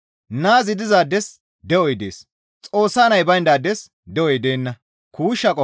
Naazi dizaades de7oy dees; Xoossa Nay bayndaades de7oy deenna.